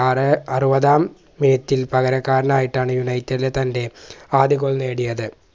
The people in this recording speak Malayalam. ആറ് അറുപതാം minute ൽ പകരക്കാരനായിട്ടാണ് United ൽ തൻറെ ആദ്യ Goal നേടിയത്